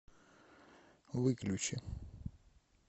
выключи